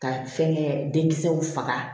Ka fɛnkɛ den kisɛw faga